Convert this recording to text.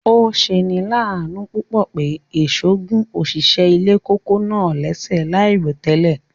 Ọ̀ sẹ̀ ni làánú púpọ̀ pé èṣọ̀ gún ọ̀ṣìṣẹ̀ ilẹ̀ kòkó̀ náà lẹ̀ṣẹ̀ laírotẹlẹ̀.